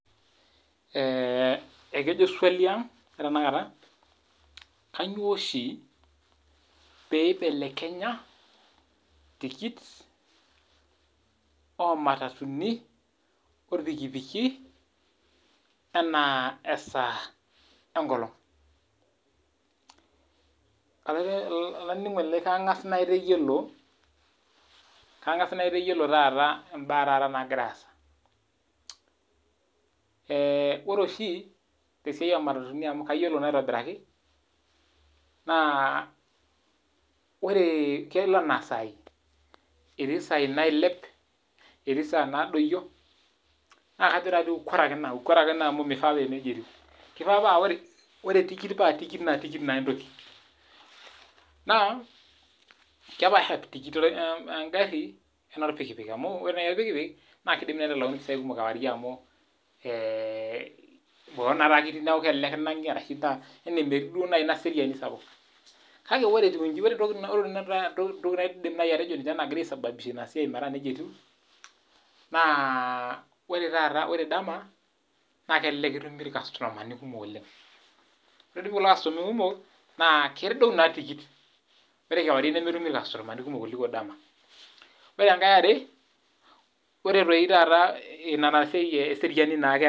Kaangas naaitayiolo taata mbaa naagira aasa. Ore oshi te siai oo matatuni naa kelo anaa saai, naa kajo {ukora} Ake ina. Kenare paa ore tikit nerisio e ngaarri. Kake ore orpikipik naa kenare nitalakuni mpisai kumok kewarie amu, ketii batisho. Kake aidim atejo ore pee eesitai ina naa ore dama aikumok irkastomani alang kewarie.